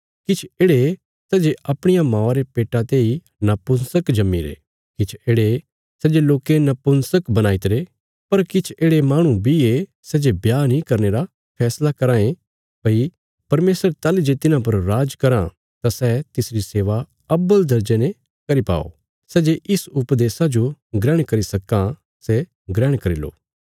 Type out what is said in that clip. किछ येढ़े सै जे अपणिया मौआ रे पेट्टा तेई नपुंसक जम्मीरे किछ येढ़े सै जे लोकें नपुंसक बणाईतरे पर किछ येढ़े माहणु बी ये सै जे ब्याह नीं करने रा फैसला कराँ ये भई परमेशर ताहली जे तिन्हां पर राज कराँ तां सै तिसरी सेवा अव्वल दर्जे ने करी पाओ सै जे इस उपदेशा जो ग्रहण करी सक्कां सै ग्रहण करी लो